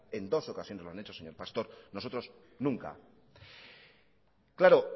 en dos ocasiones lo han hecho señor pastor nosotros nunca claro